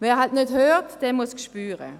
Wer nicht hört, muss spüren.